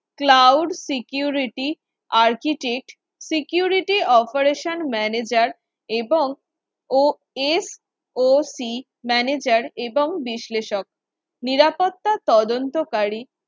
cloud security architect security operation manager এবং osoc manager এবং বিশ্লেষক নিরাপত্তা তদন্তকারী